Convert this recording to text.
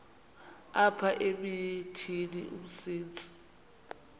apha emithini umsintsi